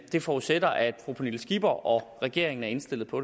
det forudsætter at fru pernille skipper og regeringen er indstillet på